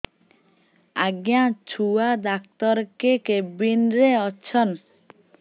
ଆଜ୍ଞା ଛୁଆ ଡାକ୍ତର କେ କେବିନ୍ ରେ ଅଛନ୍